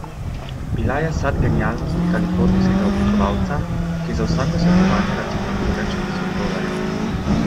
Bila je sad genialnosti kalifornijskega oblikovalca, ki za vsako svetovanje računa več tisoč dolarjev.